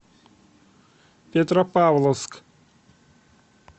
петропавловск